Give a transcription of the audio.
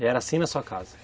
E era assim na sua casa?